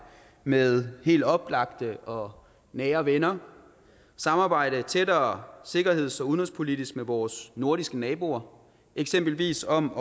med helt oplagte og nære venner og samarbejde tættere sikkerheds og udenrigspolitisk med vores nordiske naboer eksempelvis om